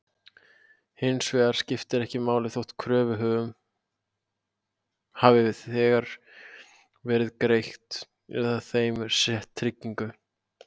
Hins vegar skiptir ekki máli þótt kröfuhöfum hafi þegar verið greitt eða þeim sett trygging.